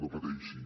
no pateixi